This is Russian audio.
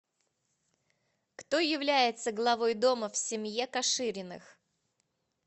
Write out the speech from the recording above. кто является главой дома в семье кашириных